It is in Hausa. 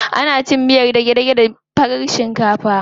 Ana cin miyar dage-dage da farar shinkafa.